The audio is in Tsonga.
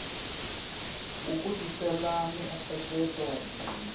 wu ku tisela miehleketo muni